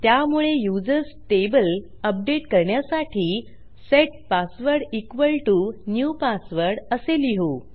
त्यामुळे users table update करण्यासाठी set password equal to new password असे लिहू